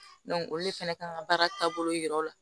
olu de fɛnɛ kan ka baara taabolo yira o la